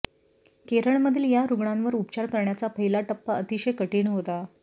केरळमधील या रुग्णांवर उपचार करण्याचा पहिला टप्पा अतिशय कठीण होता